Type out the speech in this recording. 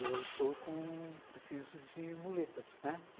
Eu estou com... preciso de muletas, né?